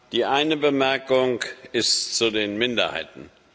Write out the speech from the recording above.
Die eine Bemerkung ist zu den Minderheiten.